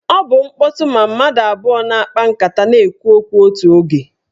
Ọ bụ mkpọtụ ma mmadụ abụọ na-akpa nkata na-ekwu okwu otu oge.